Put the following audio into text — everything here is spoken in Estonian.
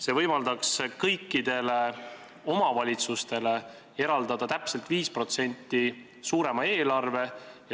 See võimaldaks kõikidele omavalitsustele eraldada täpselt 5% suurema eelarve.